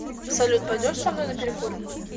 салют пойдешь со мной на перекур